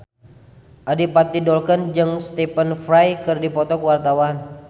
Adipati Dolken jeung Stephen Fry keur dipoto ku wartawan